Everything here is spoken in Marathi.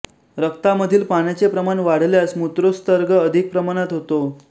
रक्तामधील पाण्याचे प्रमाण वाढल्यास मूत्रोत्सर्ग अधिक प्रमाणात होतो